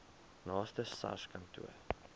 naaste sars kantoor